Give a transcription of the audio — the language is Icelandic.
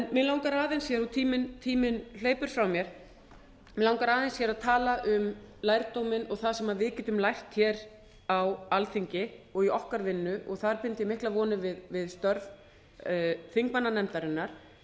mig langar aðeins en tíminn hleypur frá mér mig langar aðeins hér að tala um lærdóminn og það sem við getum lært hér á alþingi og í okkar vinnu og þar bind ég miklar vonir við störf þingmannanefndarinnar